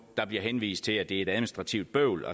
der bliver henvist til at det er et administrativt bøvl